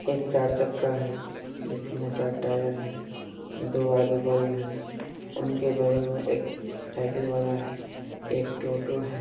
एक चार चक्का है जिसमे चार टायर है दो आगे बल्ब है उनके बगल में एक साइकिल वाला है एक टोटो है।